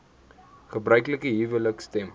gebruiklike huwelike stem